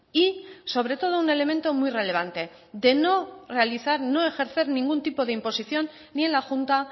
y sobre todo un elemento muy relevante de no realizar no ejercer ningún tipo de imposición ni en la junta